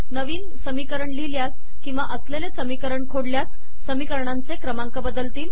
नवीन समीकरण लिहिल्यास किंवा असलेले समीकरण खोडल्यास समीकरणांचे क्रमांक बदलतील